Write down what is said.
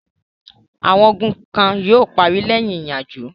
Àwọn ogun kan yóò parí lẹ́yìn ìyanjú.